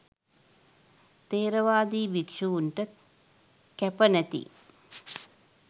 ථෙරවාදී භික්‍ෂුන්ට කැප නැති